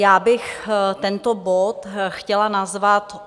Já bych tento bod chtěla nazvat